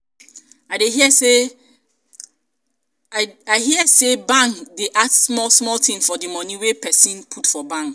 i hear sey bank dey add small tin for di moni wey pesin put for bank.